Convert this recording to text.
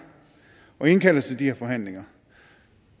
og indkalder til de her forhandlinger